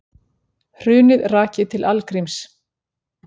Hrunið rakið til algríms